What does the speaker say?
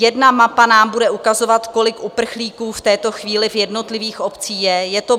Jedna mapa nám bude ukazovat, kolik uprchlíků v tuto chvíli v jednotlivých obcích je.